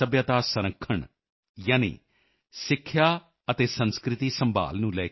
I am also happy that you have raised the important issues of education and culture